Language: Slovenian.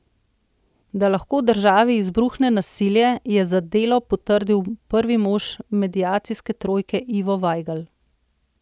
Da lahko v državi izbruhne nasilje, je za Delo potrdil prvi mož mediacijske trojke Ivo Vajgl.